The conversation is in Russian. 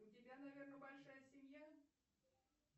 у тебя наверное большая семья